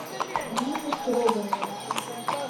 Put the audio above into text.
нину строганову